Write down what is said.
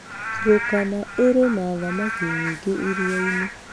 Turkana ĩrĩ na thamaki nyingĩ iria-inĩ.